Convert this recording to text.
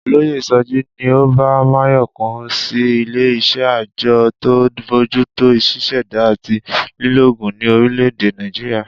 Olóyè So̩jí ni ó bá Máyò̩kún sí ilé is̩é̩ àjo̩ tó ń bójútó s̩ís̩è̩dá àti lílo ògùn ní orílè̩-èdè Nàìjíríà